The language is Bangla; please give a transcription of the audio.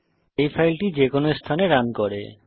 এই ফাইলটি যে কোনো স্থানে রান করতে পারে